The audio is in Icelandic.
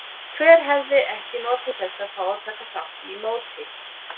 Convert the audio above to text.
Hver hefði ekki notið þess að fá að taka þátt í móti?